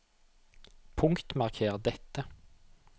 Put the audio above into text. Punktmarker dette